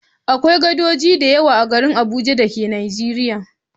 Akwai gadoji da yawa a garin Abuja da ke Nijeriya.